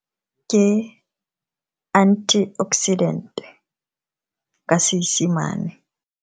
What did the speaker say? Ke antioxidant ka Seesemane.